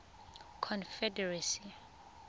confederacy